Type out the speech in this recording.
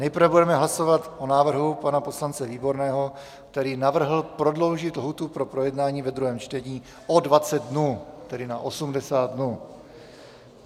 Nejprve budeme hlasovat o návrhu pana poslance Výborného, který navrhl prodloužit lhůtu pro projednání ve druhém čtení o 20 dnů, tedy na 80 dnů.